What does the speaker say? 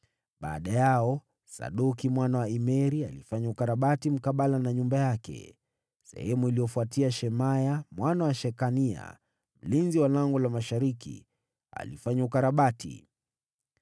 Baada yao, Sadoki mwana wa Imeri alifanya ukarabati mkabala na nyumba yake. Baada yake, Shemaya mwana wa Shekania, mlinzi wa Lango la Mashariki, alifanya ukarabati.